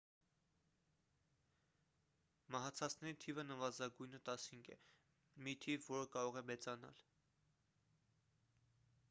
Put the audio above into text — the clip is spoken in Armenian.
մահացածների թիվը նվազագույնը 15 է մի թիվ որը կարող է մեծանալ